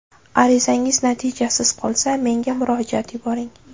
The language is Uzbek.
Arizangiz natijasiz qolsa, menga murojaat yuboring.